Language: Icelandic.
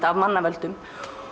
af mannavöldum